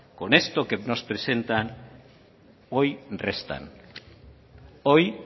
con esto que nos presentan hoy